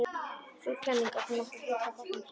Sú kenning átti nokkru fylgi að fagna um hríð.